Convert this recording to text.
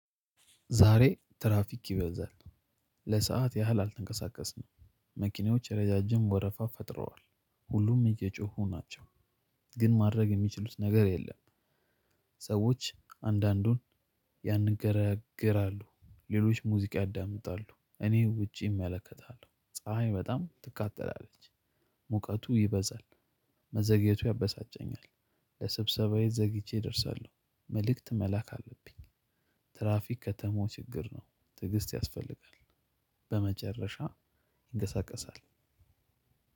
ዛሬ ትራፊክ ይበዛል ለሰአት ያህል አልተንቀሳቀስንም። መኪኖች እረጃጅም ወረፋ ፈጥረዋል ሁሉም እየጮሁ ናቸው ግን ማድረግ የሚችሉት ነገር የለም። ሰዎች አንዳንዱን ያንገራግራሉ ሌሎች ሙዚቃ ያዳምጣሉ እኔ ውጪ እመለከታለሁ። ፀሀይ በጣም ታቃጥላለች ሙቀቱ ይበዛል። መዘግየቱ ያበሳጨኛል። ለስብሰባዬ ዘግይቼ እደርሳለው መልክት መላክ አለብኝ። ትራፊክ ከተመው ችግር ነው ትግስት ያስፈልጋል። በመጨረሻ ይንቀሳቀሳል።